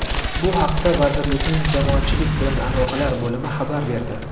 Bu haqda vazirlikning jamoatchilik bilan aloqalar bo‘limi xabar berdi.